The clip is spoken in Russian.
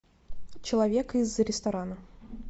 человек из ресторана